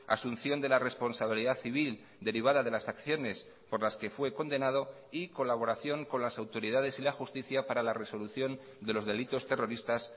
asunción de la responsabilidad civil derivada de las acciones por las que fue condenado y colaboración con las autoridades y la justicia para la resolución de los delitos terroristas